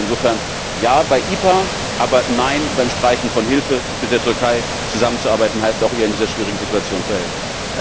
Ich glaube insofern, Ja bei EPA, aber Nein beim Streichen von Hilfe, denn mit der Türkei zusammenzuarbeiten heißt auch, ihr in dieser sehr schwierigen Situation zu helfen.